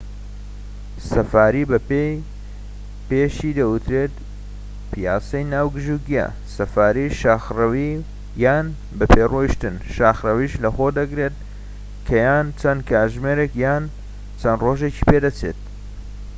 سەفاریی بە پێ پێشی دەوترێت پیاسەی ناو گژوگیا"، سەفاریی شاخڕەوی یان بەپێ ڕۆشتن شاخرەویش لەخۆ دەگرێت کە یان چەند کاتژمێرێك یان چەند ڕۆژێکی پێدەچێت